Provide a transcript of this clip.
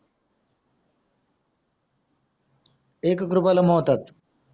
एक एक रुपयाला मोहताज